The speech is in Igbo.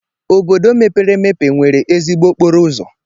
Obodo mepere emepe nwere ezigbo okporo ụzọ.